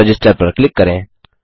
register पर click करें